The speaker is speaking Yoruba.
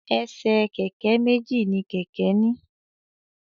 Ẹsẹ̀ kẹ̀kẹ́ méjì ni kẹ̀kẹ́ ní.